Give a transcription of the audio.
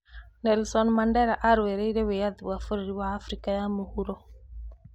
Nelson Mandela arũĩire wĩyathi wa bũrũri wa Afrika ya mũhuro.